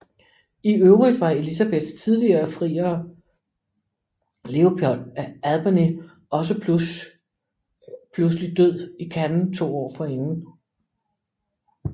I øvrigt var Elisabeths tidligere friere Leopold af Albany også pludselig død i Cannes to år forinden